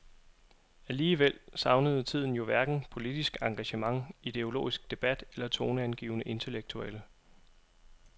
Alligevel savnede tiden jo hverken politisk engagement, ideologisk debat eller toneangivende intellektuelle.